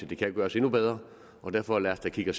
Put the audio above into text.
det kan gøres endnu bedre derfor lad os da kigge